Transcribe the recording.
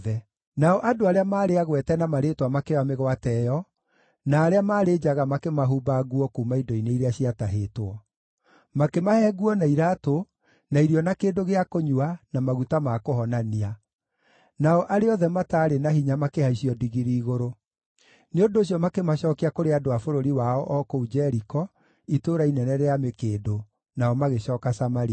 Nao andũ arĩa maarĩ agwete na marĩĩtwa makĩoya mĩgwate ĩyo, na arĩa maarĩ njaga makĩmahumba nguo kuuma indo-inĩ iria ciatahĩtwo. Makĩmahe nguo na iraatũ, na irio na kĩndũ gĩa kũnyua, na maguta ma kũhonania. Nao arĩa othe mataarĩ na hinya makĩhaicio ndigiri igũrũ. Nĩ ũndũ ũcio makĩmacookia kũrĩ andũ a bũrũri wao o kũu Jeriko, Itũũra Inene rĩa Mĩkĩndũ, nao magĩcooka Samaria.